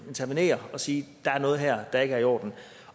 intervenere og sige at der er noget her der ikke er i orden